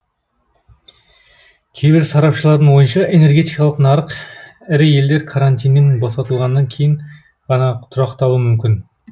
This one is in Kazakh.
кейбір сарапшылардың ойынша энергетикалық нарық ірі елдер карантиннен босатылғаннан кейін ғана тұрақталуы мүмкін